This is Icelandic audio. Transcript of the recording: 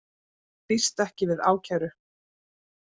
Býst ekki við ákæru